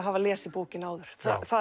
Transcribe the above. hafa lesið bókina áður